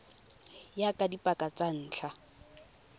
ya ka dipaka tsa ntlha